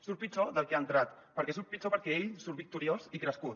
surt pitjor del que ha entrat perquè surt pitjor perquè ell surt victoriós i crescut